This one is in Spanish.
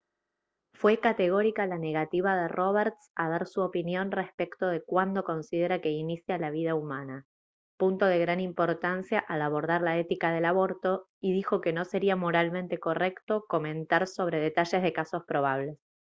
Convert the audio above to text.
fue categórica la negativa de roberts a dar su opinión respecto de cuándo considera que inicia la vida humana punto de gran importancia al abordar la ética del aborto y dijo que no sería moralmente correcto comentar sobre detalles de casos probables